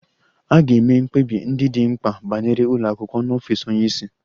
A ga-eme mkpebi ndị dị mkpa banyere ụlọ akwụkwọ n'ọfịs onye isi